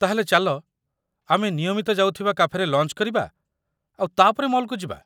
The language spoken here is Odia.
ତା'ହେଲେ ଚାଲ ଆମର ନିୟମିତ କାଫେରେ ଲଞ୍ଚ କରିବା ଆଉ ତା'ପରେ ମଲ୍ କୁ ଯିବା?